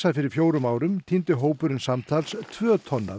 fyrir fjórum árum tíndi hópurinn samtals tvö tonn af